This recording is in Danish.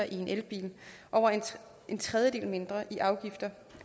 i en elbil over en tredjedel mindre i afgifter